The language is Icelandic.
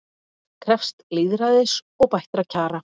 Fólk krefst lýðræðis og bættra kjara